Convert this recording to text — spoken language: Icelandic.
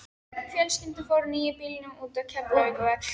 Fjölskyldan fór á nýja bílnum út á Keflavíkurvöll.